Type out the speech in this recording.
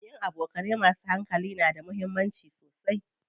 Yin abokanai masu hankali na da muhimmanci.